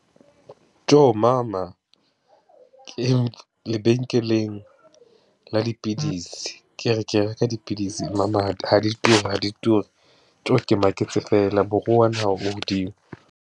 Tjo mama, lebenkeleng la dipidisi, ke re ke reka dipidisi mama ha di ture, ha di ture tjo, ke maketse feela, moruo wa naha o hodimo.